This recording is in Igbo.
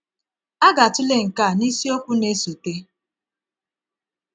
A ga-atụle nke a n’isiokwu na-esote.